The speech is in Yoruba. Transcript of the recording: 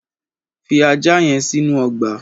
Fi ajá yen sínú ogbà